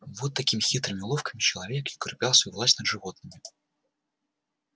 вот такими хитрыми уловками человек и укреплял свою власть над животными